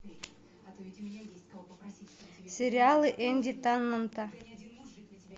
сериалы энди теннанта